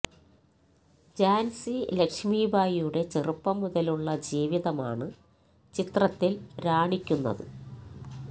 ത്സാന്സി ലക്ഷ്മി ഭായിയുടെ ചെറുപ്പം മുതലുള്ള ജീവിതമാണ് ചിത്രത്തില് രാണിക്കുന്നത്